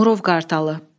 Murov Qartalı.